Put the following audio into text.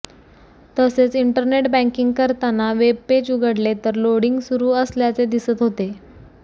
तसेच internet banking करताना webpage उघडले तर लोडिंग सुरू असल्याचे दिसत होते